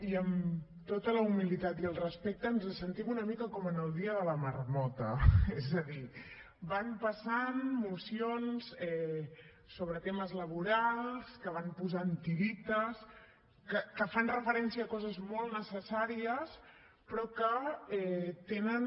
i amb tota la humilitat i el respecte ens sentim una mica com en el dia de la marmota és a dir van passant mocions sobre temes laborals que van posant tirites que fan referència a coses molt necessàries però que tenen